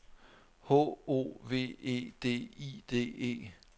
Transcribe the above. H O V E D I D E